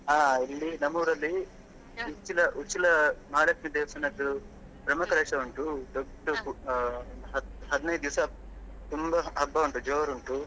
ಹಾ ಇಲ್ಲಿ ನಮ್ಮೂರಲ್ಲಿ Uchila Uchila ಮಹಾಲಕ್ಷ್ಮಿ ದೇವಸ್ಥಾನದ್ದು ಬ್ರಹ್ಮಕಲಶ ಉಂಟು ದೊಡ್ಡ ಹ~ ಹತ್ತು ಹದಿನೈದು ದಿವ್ಸ ತುಂಬಾ ಹಬ್ಬ ಉಂಟಾ ಜೋರು ಉಂಟು.